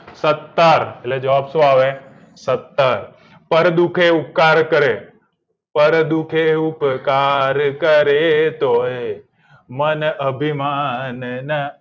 સતર એટલે જવાબ શું આવે સતર કર દુખે ઉપકાર કરે કોણ દુખે ઉપકાર કરે તોયે મન અભિમાનના